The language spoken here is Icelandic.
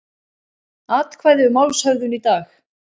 Atkvæði um málshöfðun í dag